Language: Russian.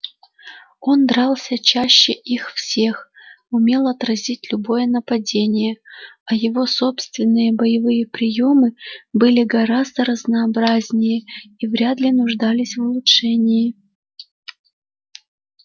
он дрался чаще их всех умел отразить любое нападение а его собственные боевые приёмы были гораздо разнообразнее и вряд ли нуждались в улучшении